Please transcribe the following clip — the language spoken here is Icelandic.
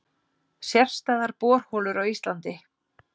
Sérstæðar borholur á Íslandi